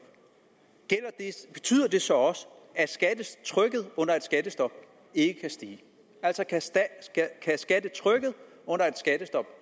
betyder det så også at skattetrykket under et skattestop ikke kan stige kan skattetrykket under et skattestop